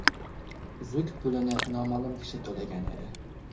Uzuk pulini noma’lum kishi to‘lagan edi.